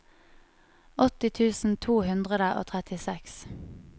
åtti tusen to hundre og trettiseks